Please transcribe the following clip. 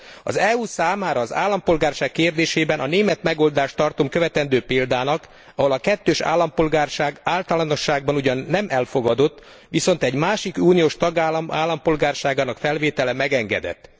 Az EU számára az állampolgárság kérdésében, a német megoldást tartom követendő példának, ahol a kettős állampolgárság általánosságban ugyan nem elfogadott, viszont egy másik uniós tagállam állampolgárságának felvétele megengedett.